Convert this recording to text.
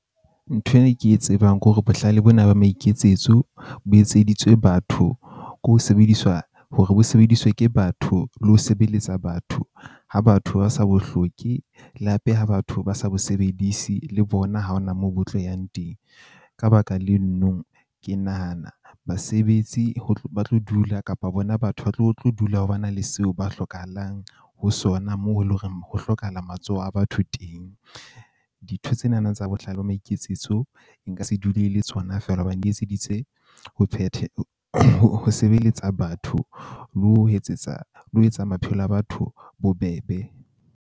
Ntho eo ke e tsebang ke hore bohlale bona ba maiketsetso bo etseditswe batho ko sebediswa hore ho sebediswe ke batho le ho sebeletsa batho ha batho ba sa bo hloke. Le hape ha batho ba sa bo sebedise le bona, ha hona moo bo tlo yang teng. Ka baka le no nong, ke nahana basebetsi ho tlo ba tlo dula kapa bona batho ba tlo tlo dula ho ba na le seo ba hlokahalang ho sona. Moo e leng horeng ho hlokahala matsoho a batho teng. Dintho tsena na tsa bohlale ba maiketsetso e nka se dule le tsona fela hobane di etseditse ho phethe, ho sebeletsa batho, le ho etsetsa le ho etsa maphelo a batho bobebe.